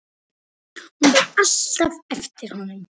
Hún beið alltaf eftir honum.